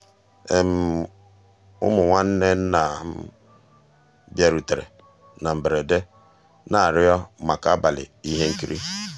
ụmụ́ nnwànné nná bìàrùtérè ná mbérèdé ná-àrịọ́ màkà àbàlí íhé nkírí.